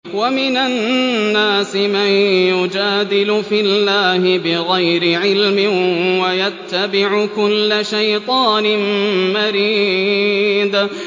وَمِنَ النَّاسِ مَن يُجَادِلُ فِي اللَّهِ بِغَيْرِ عِلْمٍ وَيَتَّبِعُ كُلَّ شَيْطَانٍ مَّرِيدٍ